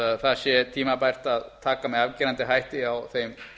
að það sé tímabært að taka með afgerandi hætti á þeim